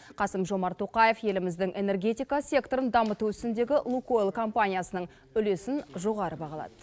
қасым жомарт тоқаев еліміздің энергетика секторын дамыту ісіндегі лукойл компаниясының үлесін жоғары бағалады